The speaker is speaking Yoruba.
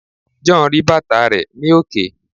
John ri bàtà rẹ ni òkè